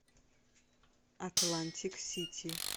атлантик сити